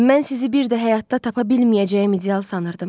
Mən sizi bir də həyatda tapa bilməyəcəyim ideal sanırdım.